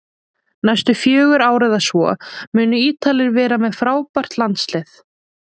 Næstu fjögur ár eða svo munu Ítalir vera með frábært landslið